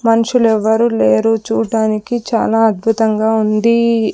మనుషులు ఎవరు లేరు చూడడానికి చాలా అద్భుతంగా ఉంది.